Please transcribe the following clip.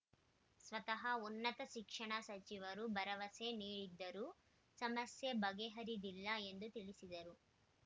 ಸ್ವತಃ ಉನ್ನತ ಶಿಕ್ಷಣ ಸಚಿವರು ಭರವಸೆ ನೀಡಿದ್ದರೂ ಸಮಸ್ಯೆ ಬಗೆಹರಿದಿಲ್ಲ ಎಂದು ತಿಳಿಸಿದರು